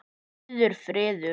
Rauður friður.